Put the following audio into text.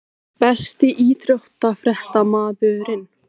Besti íþróttafréttamaðurinn??